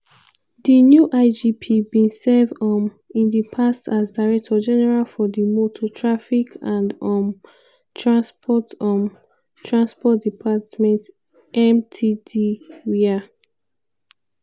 di new igp bin serve um in di past as director general for di motor traffic and um transport um transport department (mttd) wia